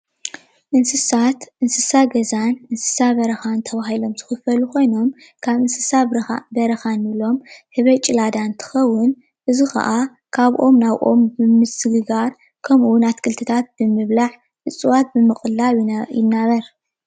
እንስሳት እንስሳ ገዛን ኣንስሳ በረካን ተባሂሎም ዝክፈሉ ኮይኖም ካብ እንስሳ በረካ እንብሎም ህበይ ጭላዳ እንትኽውን እዙይ ከዓ ካብ ኦም ናብ ኦም ብምስግጋር ከምኡ እዉን ኣትክልቲታት ብምብላዕ፣ እፅዋት ብምቅላብ ይናበር።